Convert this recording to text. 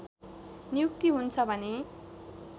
नियुक्ति हुन्छ भने